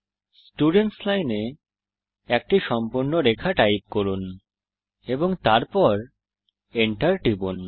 students line এ একটি সম্পূর্ণ রেখা টাইপ করুন এবং তারপর Enter টিপুন